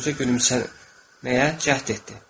Qoca gülümsəməyə cəhd etdi.